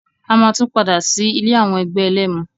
A máa tún padà sí ilé àwọn ẹgbẹ́ ẹlẹ́mu.